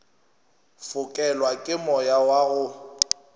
fokelwa ke moya wa go